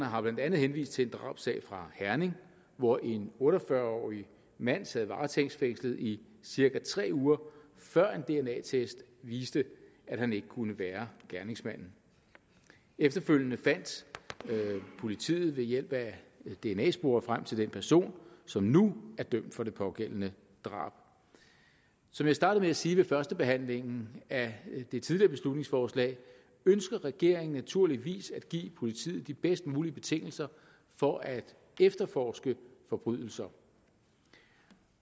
har blandt andet henvist til en drabssag fra herning hvor en otte og fyrre årig mand sad varetægtsfængslet i cirka tre uger før en dna test viste at han ikke kunne være gerningsmanden efterfølgende fandt politiet ved hjælp af dna spor frem til den person som nu er dømt for det pågældende drab som jeg startede sige ved førstebehandlingen af det tidligere beslutningsforslag ønsker regeringen naturligvis at give politiet de bedst mulige betingelser for at efterforske forbrydelser